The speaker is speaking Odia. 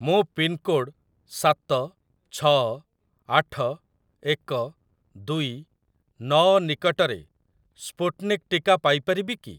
ମୁଁ ପିନ୍‌କୋଡ଼୍‌ ସାତ ଛଅ ଆଠ ଏକ ଦୁଇ ନଅ ନିକଟରେ ସ୍ପୁଟ୍‌ନିକ୍‌ ଟିକା ପାଇ ପାରିବି କି?